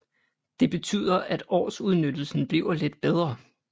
Det betyder at årsudnyttelsen bliver lidt bedre